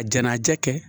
A jɛnajɛ kɛ